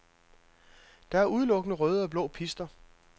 Der er udelukkende røde og blå pister.